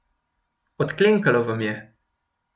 Odklenkalo vam je.